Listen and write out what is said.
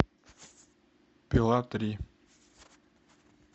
пила три